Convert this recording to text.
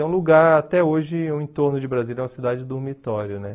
É um lugar, até hoje, o entorno de Brasília é uma cidade de dormitório, né?